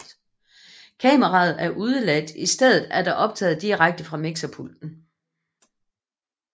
Kameraet er udeladt i stedet er der optaget direkte fra mixerpulten